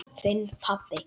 Þinn pabbi.